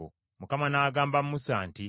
Mukama n’agamba Musa nti,